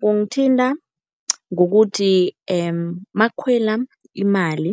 Kungithinta ngokuthi makukhwela imali